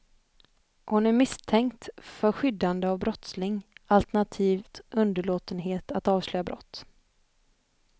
Hon är misstänkt för skyddande av brottsling alternativt underlåtenhet att avslöja brott.